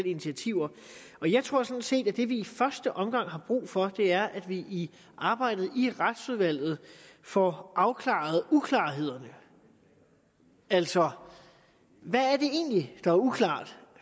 initiativer og jeg tror sådan set at det vi i første omgang har brug for er at vi i arbejdet i retsudvalget får afklaret uklarhederne altså hvad er det egentlig der er uklart